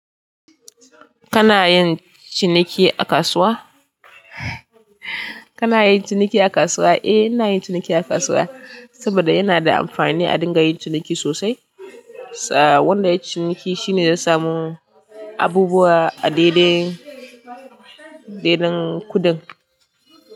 Kana yin ciniki a kasuwa? Kana yin ciniki a kasuwa? Eh, ina yin ciniki a kasuwa saboda yana da amfani a dinga yin ciniki sosai. Tsaya wanda yayi ciniki shine zai samu abubuwa a daidai daidan kuɗin.